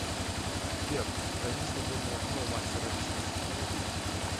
сбер займи свободное окно у мастера ресниц